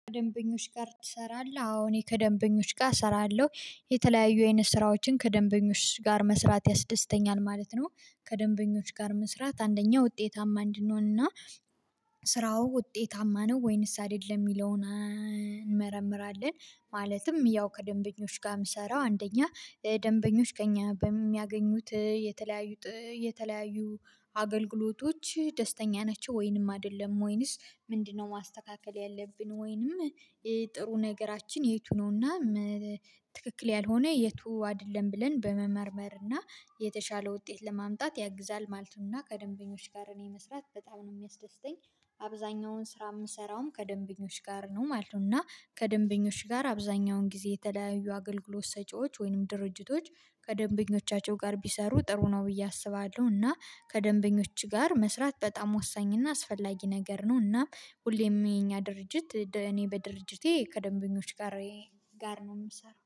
ከደንበኞች ጋር ትሰራለህ? አዎ እኔ ከደንበኞች ጋር እሰራለሁ የተለያዩ አይነት ስራዎችን ከደንበኞች ጋር መስራት ያስደስተኛል ማለት ነው። ከደንበኞች ጋር መስራት አንደኛው ውጤታማ እንድንሆንና ስራው ውጤታማ ነው ወይንስ አይደለም የሚለውን እንመረምራለን። ማለትም ያው ከደንበኞች ጋር ምሰራው አንደኛ ደንበኞች ከእኛ በሚያገኙት የተለያዩ የተለያዩ አገልግሎቶች ደስተኛ ናቸው ወይንም አይደለም ወይንስ ምንድነው ማስተካከል ያለብን ወይንም ጥሩ ነገራችን የቱ ነውና ትክክል ያልሆነ የቱ አይደለም ብለን በመመርመር እና የተሻለ ውጤት ለማምጣት ያግዛል ማለት ነው። ከደንበኞች ጋር እኔ መስራት በጣም ነው የሚያስደስተኝ አብዛኛውን ስራ የምሰራውም ከደንበኞች ጋር ነው ማለት ነው። እና ከደንበኞች ጋር አብዛኛውን ጊዜ የተለያዩ አገልግሎት ሰጪዎች ወይንም ድርጅቶች ከደንበኞቻቸው ጋር ቢሰሩ ጥሩ ነው ብዬ አስባለሁ እና ከደንበኞች ጋር መስራት በጣም ወሳኝና አስፈላጊ ነገር ነው። እና ሁሌም የኛ ድርጅት እኔ በድርጅቴ ከደንበኞች ጋር ነው የምሰራው